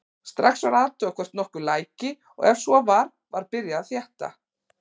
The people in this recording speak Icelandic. Strax var athugað hvort nokkuð læki og ef svo var var byrjað að þétta.